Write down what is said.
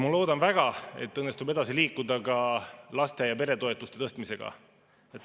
Ma loodan väga, et õnnestub edasi liikuda ka laste‑ ja peretoetuste tõstmisega.